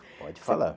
Pode falar.